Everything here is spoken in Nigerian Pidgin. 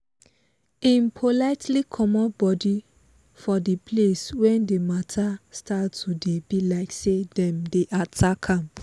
im politely comot body for the place when the mata start to dey be like say dem dey attack am